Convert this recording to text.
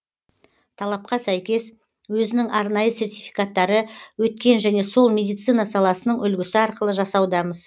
талапқа сәйкес өзінің арнайы сертификаттары өткен және сол медицина саласының үлгісі арқылы жасаудамыз